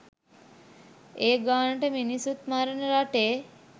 ඒ ගානට මිනිස්සුත් මරණ රටේ?